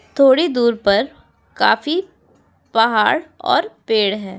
थोड़ी दूर पर काफी पहाड़ और पेड़ हैं।